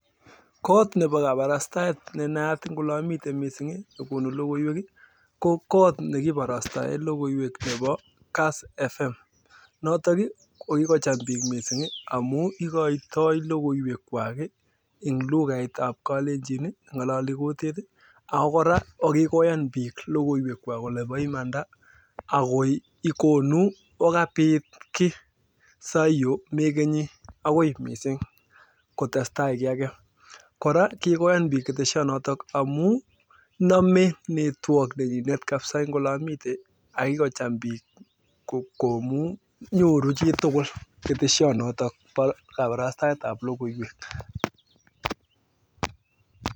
Kot neboo kabarastaet ne naat missing nekonuu logoywek ii ko kass fm.notok ii okikocham biik missing ing amuu ikoytoo logoywek kwak ii eng (lugait) neboo kalenjin ii ngololii kotet ii akikoyan bik logoywek kwak kolee bo iman. akokonu okabit akonabee (network) komnyee